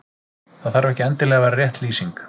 Það þarf ekki endilega að vera rétt lýsing.